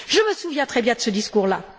Je me souviens très bien de ce discours là.